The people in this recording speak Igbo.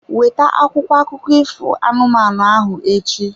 Weta akwụkwọ akụkọ ifo anụmanụ ahụ echi.